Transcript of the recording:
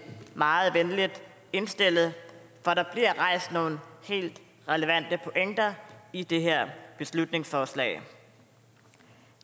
meget velvilligt indstillet for der bliver rejst nogle helt relevante pointer i det her beslutningsforslag